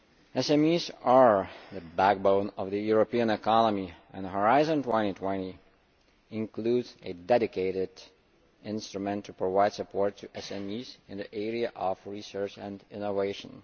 SMEs are the backbone of the European economy, and Horizon 2020 includes a dedicated instrument to provide support to SMEs in the area of research and innovation.